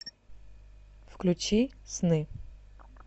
включи сны